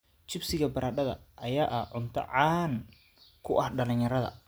Chips-ka baradhada ayaa ah cunto caan ka ah dhalinyarada.